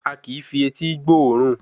A kìí fi etí gbóòórùn